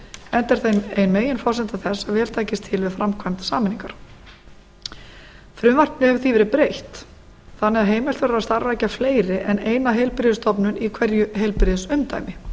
enda er það ein meginforsenda þess að vel takist til við framkvæmd sameiningar frumvarpinu hefur því verið breytt þannig að heimilt verður að starfrækja fleiri en eina heilbrigðisstofnun í hverju heilbrigðisumdæmi